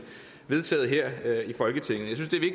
vedtaget her i folketinget